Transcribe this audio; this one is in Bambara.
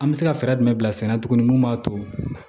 An bɛ se ka fɛɛrɛ jumɛn bila sen na tuguni mun b'a to